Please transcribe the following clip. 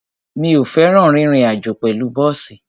Mi ò fẹ́ràn rírin àjó pẹ̀lú bọ́ọ̀sì.